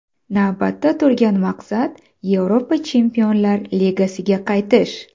Navbatda turgan maqsad Yevropa Chempionlar Ligasiga qaytish.